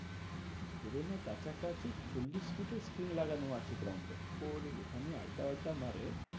ধরে নে কাছাকাছি চল্লিশ feet এর screen লাগানো আছে ground এ। ওরে ওইখানেই আড্ডা ফাড্ডা মারে।